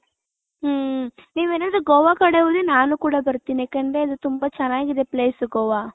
ಹ್ಮ್ಮ್ ನೀವ್ ಏನಾದ್ರು ಗೋವ ಕಡೆ ಹೋದ್ರೆ ನಾನು ಕೂಡ ಬರ್ತೀನಿ ಯಾಕಂದ್ರೆ ಅದು ತುಂಬಾ ಚೆನ್ನಾಗಿದೆ place ಗೋವ .